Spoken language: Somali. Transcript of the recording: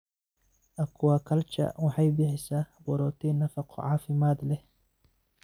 Aquaculture waxay bixisaa borotiin nafaqo caafimaad leh.